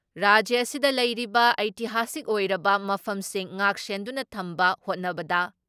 ꯔꯥꯖ꯭ꯌ ꯑꯁꯤꯗ ꯂꯩꯔꯤꯕ ꯑꯩꯇꯤꯍꯥꯁꯤꯛ ꯑꯣꯏꯔꯕ ꯃꯐꯝꯁꯤꯡ ꯉꯥꯛ ꯁꯦꯟꯗꯨꯅ ꯊꯝꯕ ꯍꯣꯠꯅꯕꯗ